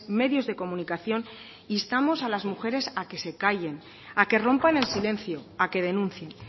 medios de comunicación instamos a las mujeres a que no se callen a que rompan el silencio a que denuncien